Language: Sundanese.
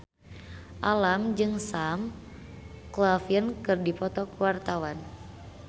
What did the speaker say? Alam jeung Sam Claflin keur dipoto ku wartawan